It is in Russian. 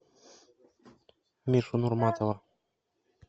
мишу нурматова